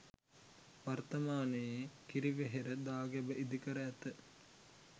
වර්තමානයේ කිරිවෙහෙර දාගැබ ඉදිකර ඇත.